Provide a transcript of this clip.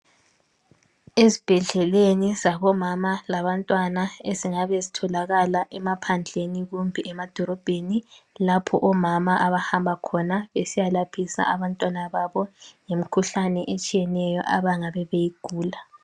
Ezibhedlela zabo mama labantwana ezingabe zitholakala emaphandleni lasemadolobheni lapho omama abahamba besiya laphisa imikhuhlane etshiyeneyo lapho abantwana begula